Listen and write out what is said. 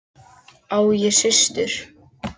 Á ég systur?